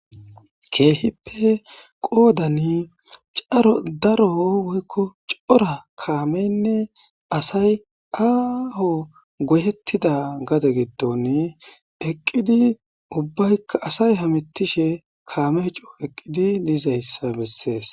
keehippe qoodan caro daro woykko cora kaameynne asay aaho goyettida gade giddon eqqidi ubbaykka asay hamettishe kaame coo eqqidi diizayssa bessees.